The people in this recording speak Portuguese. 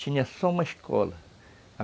Tinha só uma escola.